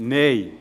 Nein